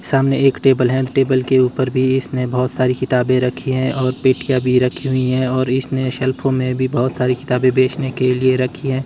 सामने एक टेबल है टेबल के ऊपर भी इसने बहोत सारी किताबे रखी हैं और पेटिया भी रखी हुई हैं और इसने शेल्फो में भी बहोत सारी किताबें बेचने के लिए भी रखी हुई हैं।